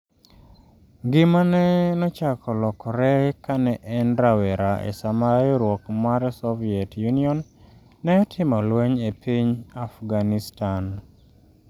Ngimane nochako lokore kane en rawera e sama riwruok mar Soviet Union ne otimo lweny e piny Afghanistan.